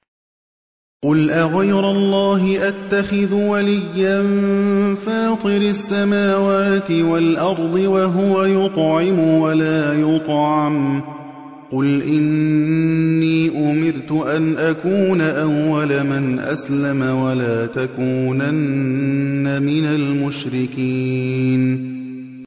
قُلْ أَغَيْرَ اللَّهِ أَتَّخِذُ وَلِيًّا فَاطِرِ السَّمَاوَاتِ وَالْأَرْضِ وَهُوَ يُطْعِمُ وَلَا يُطْعَمُ ۗ قُلْ إِنِّي أُمِرْتُ أَنْ أَكُونَ أَوَّلَ مَنْ أَسْلَمَ ۖ وَلَا تَكُونَنَّ مِنَ الْمُشْرِكِينَ